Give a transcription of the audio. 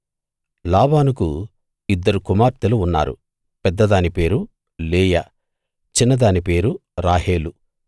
లాబానుకు ఇద్దరు కుమార్తెలు ఉన్నారు పెద్దదాని పేరు లేయా చిన్నదాని పేరు రాహేలు